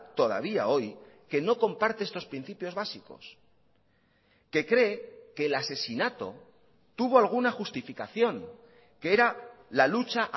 todavía hoy que no comparte estos principios básicos que cree que el asesinato tuvo alguna justificación que era la lucha